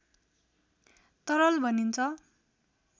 तरल भनिन्छ